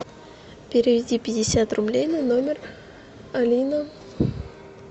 переведи пятьдесят рублей на номер алина